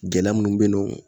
Gɛlɛya minnu be yen nɔ